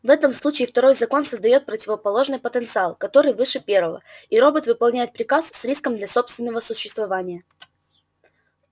в этом случае второй закон создаёт противоположный потенциал который выше первого и робот выполняет приказ с риском для собственного существования